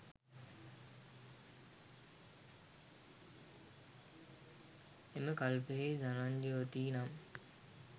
එම කල්පයෙහි ධනංජවතී නම්